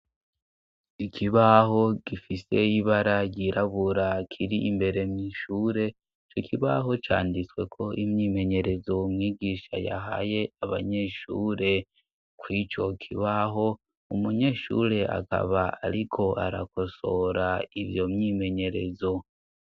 Ikibaho gifise ibara ryirabura kiri imbere mw'ishure ico kibaho canditsweko imyimenyerezo mwigisha yahaye abanyeshure, kuri ico kibaho umunyeshure akaba ariko arakosora iyo myimenyerezo.